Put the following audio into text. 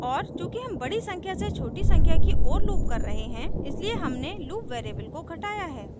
और चूँकि हम बड़ी संख्या से छोटी संख्या की ओर loop कर रहे हैं इसलिए हमने loop variable को घटाया है